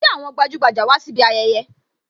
Ṣé àwọn gbajugbaja wá síbi ayẹyẹ?